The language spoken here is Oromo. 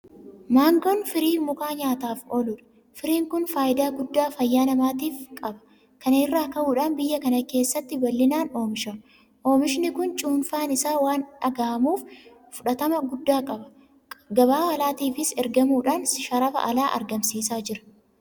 Maangoon firii mukaa nyaataaf ooludha. Firiin kun faayidaa guddaa fayyaa namaatiif qaba. kana irraa ka'uudhaan biyya kana keessatti bal'inaan oomishama. Oomishni kun cuunfaan isaas waan dhugamuuf fudhatama guddaa qaba. Gabaa alaatiifis ergamuudhaan sharafa alaa argamsiisaa jira.